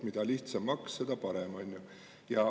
Mida lihtsam maks, seda parem.